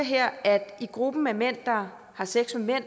at i gruppen af mænd der har sex med